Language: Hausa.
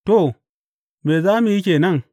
To, me za mu yi ke nan?